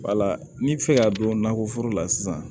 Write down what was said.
Wala ni bɛ fɛ ka don nakɔ foro la sisan